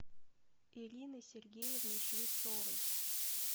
ириной сергеевной швецовой